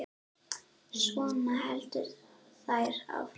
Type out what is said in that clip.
Svona héldu þær áfram.